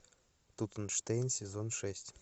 тутенштейн сезон шесть